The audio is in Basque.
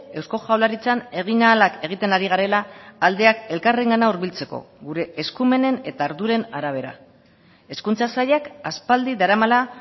eusko jaurlaritzan egin ahalak egiten ari garela aldeak elkarrengana hurbiltzeko gure eskumenen eta arduren arabera hezkuntza sailak aspaldi daramala